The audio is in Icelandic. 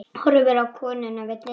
Horfir á konuna við dyrnar.